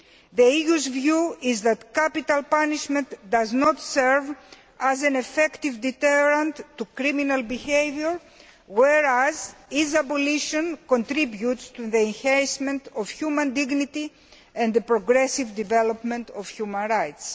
The EU's view is that capital punishment does not serve as an effective deterrent to criminal behaviour, whereas its abolition contributes to the enhancement of human dignity and the progressive development of human rights.